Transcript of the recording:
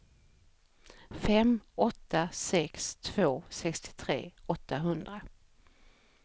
fem åtta sex två sextiotre åttahundra